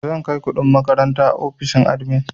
Zan kai kuɗin makaranta ofishin admin.